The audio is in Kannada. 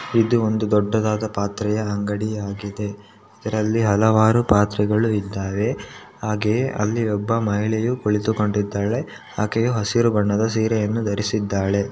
ಇದು ಒಂದು ದೊಡ್ಡದಾದ ಪಾತ್ರೆಯ ಅಂಗಡಿಯಾಗಿದೆ ಇದರಲ್ಲಿ ಹಲವಾರು ಪಾತ್ರೆಗಳು ಇದ್ದಾವೆ ಹಾಗೆಯೇ ಅಲ್ಲಿ ಒಬ್ಬ ಮಹಿಳೆಯು ಕುಳಿತುಕೊಂಡಿದ್ದಾಳೆ ಆಕೆಯೂ ಹಸಿರು ಬಣ್ಣದ ಸೀರೆಯನ್ನು ಧರಿಸಿದ್ದಾಳೆ .